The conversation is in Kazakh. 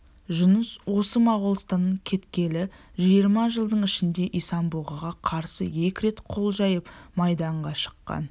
жұныс осы моғолстаннан кеткелі жиырма жылдың ішінде исан-бұғыға қарсы екі рет қол жиып майданға шыққан